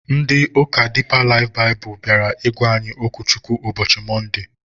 Ndị ụka Diipa Laif Baịbụl bịara ịgwa anyị okwu Chukwu ụbọchị Mọnde